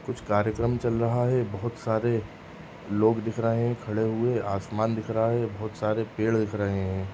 कुछ कार्यक्रम चल रहा है। बहोत सारे लोग दिख रहे हैं खड़े हुए। आसमान दिख रहा है। बहोत सारे पेड़ दिख रहे हैं।